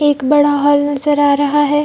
एक बड़ा हॉल नजर आ रहा है।